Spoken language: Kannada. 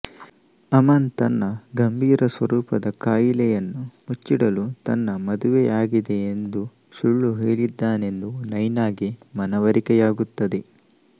ಅಮನ್ ತನ್ನ ಗಂಭೀರ ಸ್ವರೂಪದ ಕಾಯಿಲೆಯನ್ನು ಮುಚ್ಚಿಡಲು ತನ್ನ ಮದುವೆ ಆಗಿದೆ ಎಂದು ಸುಳ್ಳು ಹೇಳಿದ್ದಾನೆಂದು ನೈನಾಗೆ ಮನವರಿಕೆಯಾಗುತ್ತದೆ